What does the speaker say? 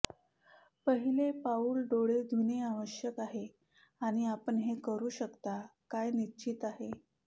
पहिले पाऊल डोळे धुणे आवश्यक आहे आणि आपण हे करू शकता काय निश्चित आहे